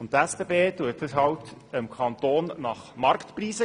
Die SBB vergibt den Boden dem Kanton zu Marktpreisen.